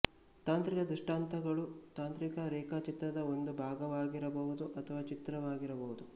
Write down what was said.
ತಾಂತ್ರಿಕ ದ್ರಷ್ಟಾಂತಗಳು ತಾಂತ್ರಿಕ ರೇಖಾಚಿತ್ರದ ಒಂದು ಭಾಗವಾಗಿರಬಹುದು ಅಥವಾ ಚಿತ್ರವಾಗಿರಬಹುದು